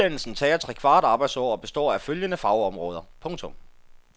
Uddannelsen tager trekvart arbejdsår og består af følgende fagområder. punktum